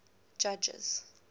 judges